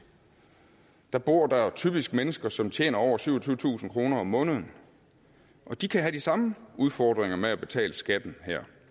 bor der typisk mennesker som tjener over syvogtyvetusind kroner om måneden og de kan have de samme udfordringer med at betale skatten